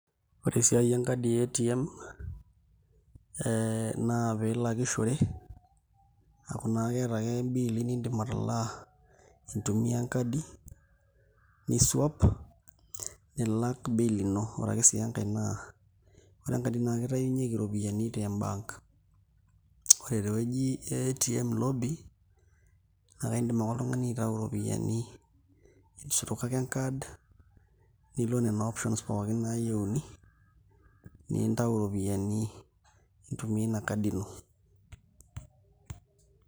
Ore esiai enkadi e ATM piilakishore aaku naa ake iata ake bills niidim atalaa intumia enkadi ni swipe nilak bill ino ore ake sii enkai naa ore enkadi naa kitayunyieki iropiyiani te bank, ore tewueji e ATM lobby naa kaidim ake oltung'ani aitayu iropiyiani, isuroki ake enkad nilo nena options pooki naayieuni nintayu iropiyiani intumia ina kadi ino.